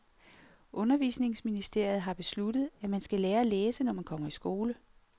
Undervisningsministeriet har besluttet, at man skal lære at læse, når man kommer i skole.